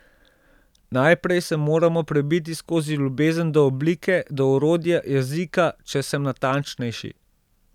Najprej se moramo prebiti skozi ljubezen do oblike, do orodja, jezika, če sem natančnejši.